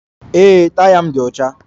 Ee, taya m dị ọcha